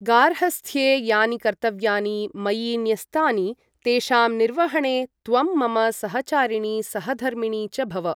गार्हस्थ्ये यानि कर्तव्यानि मयि न्यस्तानि तेषां निर्वहणे त्वं मम सहचारिणी सहधर्मिणी च भव।